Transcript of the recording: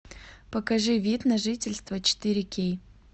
покажи вид на жительство четыре кей